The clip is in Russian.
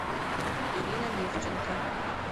ирина левченко